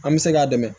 An bɛ se k'a dɛmɛ